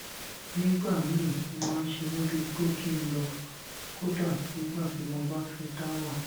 nígbà míì ó máa ń ṣe mí bíi pé kí n lọ kódà nígbà tí mo bá fé dá wà